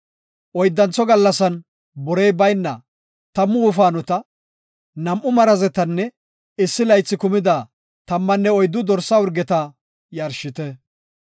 “Oyddantho gallasan borey bayna tammu wofaanota, nam7u marazetanne issi laythi kumida tammanne oyddu dorsa urgeta yarshite.